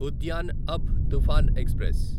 Udyan Abha Toofan express